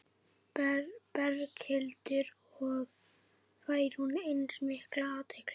Berghildur: Og fær hún eins mikla athygli?